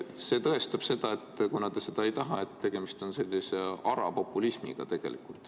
See tõestab seda, et kuna te seda ei taha, siis on tegemist sellise ara populismiga.